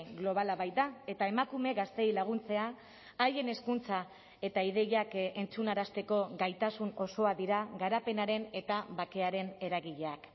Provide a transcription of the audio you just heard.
globala baita eta emakume gazteei laguntzea haien hezkuntza eta ideiak entzunarazteko gaitasun osoa dira garapenaren eta bakearen eragileak